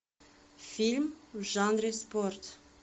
фильм в жанре спорт